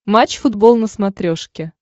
матч футбол на смотрешке